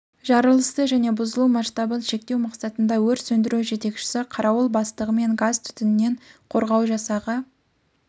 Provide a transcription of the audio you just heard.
жарылысты және бұзылу масштабын шектеу мақсатында өрт сөндіру жетекшісі қарауыл бастығымен газ түтіннен қорғау жасағы